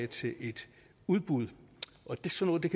til et udbud og sådan